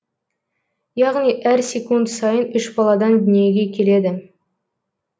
яғни әр секунд сайын үш баладан дүниеге келеді